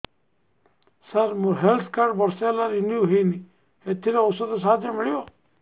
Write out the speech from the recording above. ସାର ମୋର health card ବର୍ଷେ ହେଲା ରିନିଓ ହେଇନି ଏଥିରେ ଔଷଧ ସାହାଯ୍ୟ ମିଳିବ